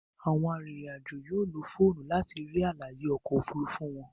Àwọn arinrin-ajo yóò ló fóònù láti rí àlàyé oko òfurufú wón.